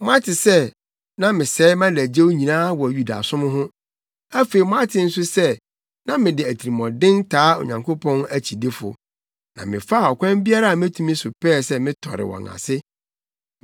Moate sɛ na mesɛe mʼadagyew nyinaa wɔ Yudasom ho. Afei moate nso sɛ na mede atirimɔden taa Onyankopɔn akyidifo, na mefaa ɔkwan biara a metumi so pɛɛ sɛ metɔre wɔn ase.